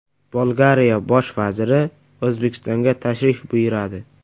Bolgariya bosh vaziri O‘zbekistonga tashrif buyuradi.